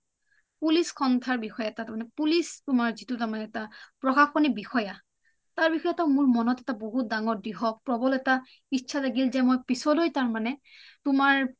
police সৰ্ন্থাৰ বিষয় এটা তুমাৰ police যিটো তোমাৰ এটা প্ৰখাসনি বিষয়া তাৰ বিষয়ে মোৰ মনত এটা বহুত দাঙৰ দ্ৰীহক প্ৰবল এটা ইচ্ছা জাগিল যে মই পিছলৈ তাৰমানে তোমাৰ